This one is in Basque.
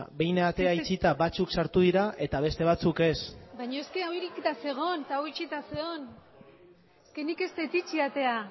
behin atea itxita batzuk sartu dira eta beste batzuk ez baina eske hau irekita zegoen eta hau itxita zegoen nik ez dut itxi atea